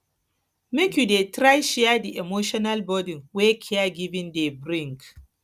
make you dey try share di emotional burden wey caregiving dey bring